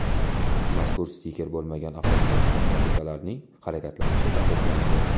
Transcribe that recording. Mazkur stiker bo‘lmagan avtotransport vositalarining harakatlanishi taqiqlanadi.